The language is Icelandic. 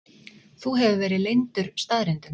Þú hefur verið leyndur staðreyndum.